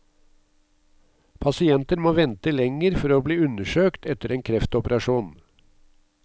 Pasienter må vente lenger for å bli undersøkt etter en kreftoperasjon.